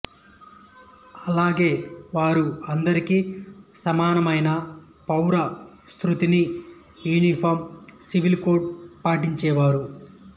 అలాగే వారు అందరికీ సమానమైన పౌర స్మృతిని యూనిఫాం సివిల్ కోడ్ పాటించేవారు